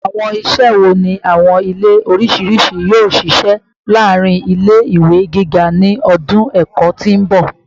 Awọn iṣẹ wo ni awọn ile oriṣiriṣi yoo ṣiṣẹ laarin ile-iwe giga ni ọdun ẹkọ ti n bọ?